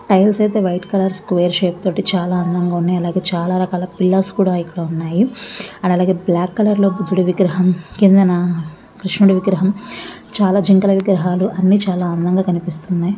Tiles అయితే white colour square shape తోటి చాలా అందంగా ఉన్నాయి. అలాగే చాలా రకాల పిల్లర్ స్ కూడా ఇక్కడ ఉన్నాయి. ఆడ అలాగే బ్లాక్ కలర్ లో బుద్ధుడి విగ్రహం కింద నా కృష్ణుడి విగ్రహం చాలా జింకల విగ్రహాలు అన్ని చాలా అందంగా కనిపిస్తున్నాయి.